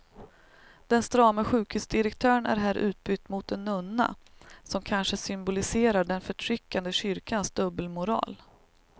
Den strame sjukhusdirektören är här utbytt mot en nunna, som kanske symboliserar den förtryckande kyrkans dubbelmoral.